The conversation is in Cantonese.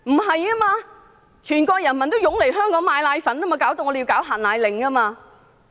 事實上，全國人民也湧來香港購買奶粉，因而令香港政府要發出"限奶令"。